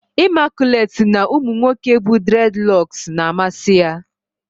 Imaculate si na umu nwoke bu dredloksu na-amasi ya